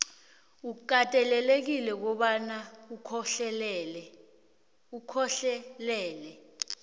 ukatelelekile kobana ukhohlelele